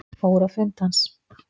Fór á fund hans